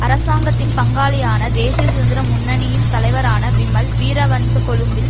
அரசாங்கத்தின் பங்காளியான தேசிய சுதந்திர முன்னணியின் தலைவரான விமல் வீரவன்ச கொழும்பில்